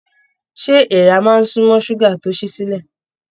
Ṣé èèrà máa n sunmọ ṣuga tó sì silẹ?